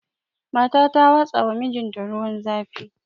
Mata ta watsawa mijinta ruwan zafi